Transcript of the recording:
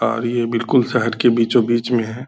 और ये बिल्कुल शहर के बीचो-बीच में है।